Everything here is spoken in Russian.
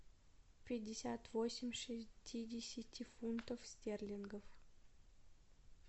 пятьдесят восемь шестидесяти фунтов стерлингов